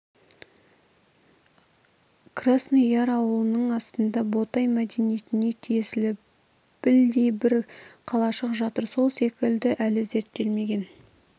красный яр ауылының астында ботай мәдениетіне тиесілі білдей бір қалашық жатыр сол секілді әлі зерттелмеген